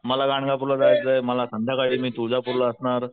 मला गांणगापूर ला जायचय मला संध्याकाळी मी तुळजापूर ला असणार,